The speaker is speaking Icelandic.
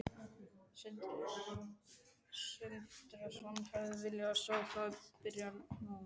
Sindri Sindrason: Hefðirðu viljað sjá það byrja núna?